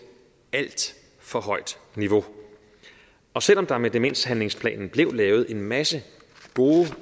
alt for højt niveau og selv om der med demenshandlingsplanen blev lavet en masse gode